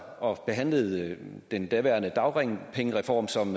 og behandlede den daværende dagpengereform som